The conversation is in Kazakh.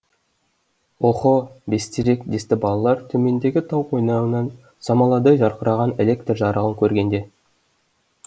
охо бестерек десті балалар төмендегі тау қойнауынан самаладай жарқыраған электр жарығын көргенде